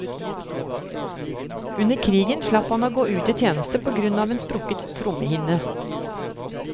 Under krigen slapp han å gå ut i tjeneste på grunn av en sprukket trommehinne.